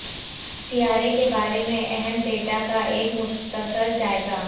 سیارے کے بارے میں اہم ڈیٹا کا ایک مختصر جائزہ